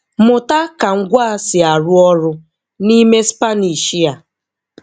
Mụta ka ngwaa si arụ ọrụ n'ime Spanish a